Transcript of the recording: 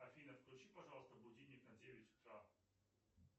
афина включи пожалуйста будильник на девять утра